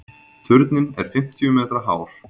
Turninn er fimmtíu metra hár.